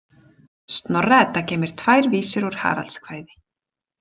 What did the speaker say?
Snorra- Edda geymir tvær vísur úr Haraldskvæði.